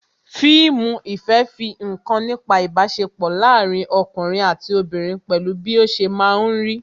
Fíìmù ìfẹ́ fi nkan nípa ibasepo láàárín ọkùnrin àti obìnrin pẹ̀lú bí ó ṣe máa ń rí